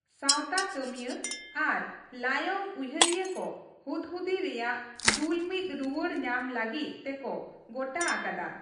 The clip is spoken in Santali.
ᱥᱟᱶᱛᱟ ᱠᱟᱹᱢᱤᱭᱟᱹ ᱟᱨ ᱞᱟᱭᱚᱝ ᱩᱭᱦᱟᱹᱨᱤᱭᱟᱹ ᱠᱚ ᱦᱩᱫᱽᱦᱩᱫᱤ ᱨᱮᱭᱟᱜ ᱫᱩᱞᱢᱤᱫ ᱨᱩᱣᱟᱲ ᱧᱟᱢ ᱞᱟᱹᱜᱤᱫ ᱛᱮᱠᱚ ᱜᱚᱴᱟ ᱟᱠᱟᱫᱟ ᱾